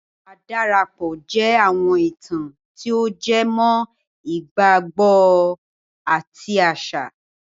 Àdàparo jẹ́ àwọn ìtàn tí o jẹ mọ́ ìgbàgbọ àti àṣà